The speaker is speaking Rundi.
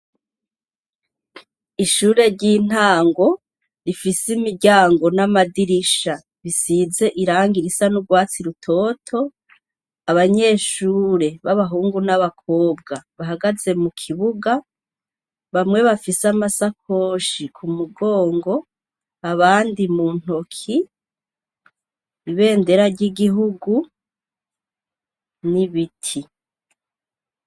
Ishure ry'intango rifise imiryango n'amadirisha bisize irangi risa n'urwatsi rutoto abanyeshure b'abahungu n'abakobwa bahagaze mu kibuga bamwe bafise amasakoshi ku mugongo abandi muntoki ibendera ry'igihugu n'ibiti.